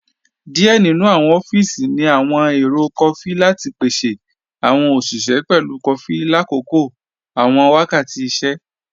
Díẹ̀ nínu awọn ọfíísì ní awọn èrò kọfí lati pèsè awọn oṣiṣẹ pẹ̀lú kọfí látòkò awọn wákàtì ìṣẹ̀.